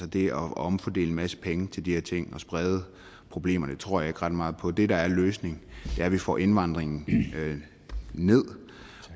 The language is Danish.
det at omfordele en masse penge til de her ting og sprede problemerne tror jeg ikke ret meget på det der er løsningen er at vi får indvandringen ned